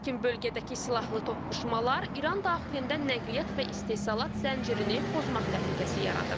Lakin bölgədəki silahlı toqquşmalar İran daxilində nəqliyyat və istehsal zəncirini pozmaq təhlükəsi yaradır.